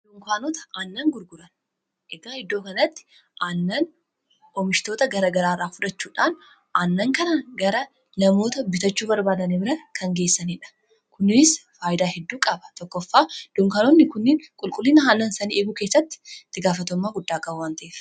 Dunkaanota aannan gurguran. Egaa iddoo kanatti aannan oomishtoota gara garaa irraa fudhachuudhaan aannan kana gara namoota bitachuu barbaadani bira kan geessanidha. Kunis fayyidaa hedduu qaba: tokkoffaa dunkanoonni kuniin qulqullina haalan sanii eeguu keessatti ittigaafatamummaa guddaa qabu waan ta'eef.